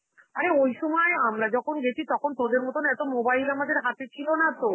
আরে ওই সময় আমরা যখন গেছি তখন তোদের মতন এত mobile আমাদের হাতে ছিল না তো,